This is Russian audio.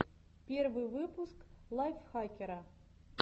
первый выпуск лайфхакера